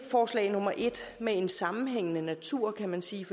forslag nummer en med en sammenhængende natur kan man sige